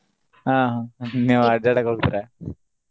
ಆಹ್ ಆಹ್ ನೀವ್ ಅಡ್ಯಾಡಾಕ್ ಹೋಗ್ತಿರಾ?